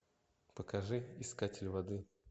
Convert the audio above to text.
покажи искатель воды